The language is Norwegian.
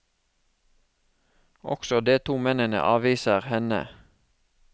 Også de to mennene avviser henne.